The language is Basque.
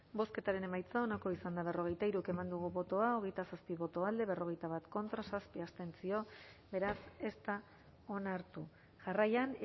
bozketaren emaitza onako izan da berrogeita hiru eman dugu bozka hogeita zazpi boto alde berrogeita bat contra zazpi abstentzio beraz ez da onartu jarraian